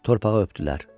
Torpağı öpdülər.